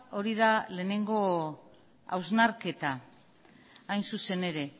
hori da lehenengo hausnarketa hain zuzen ere